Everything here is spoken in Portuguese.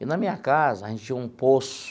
E na minha casa, a gente tinha um poço.